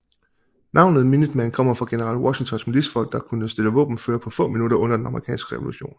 Navnet Minuteman kommer fra general Washingtons militsfolk der skulle kunne stille våbenføre på få minutter under den amerikanske revolution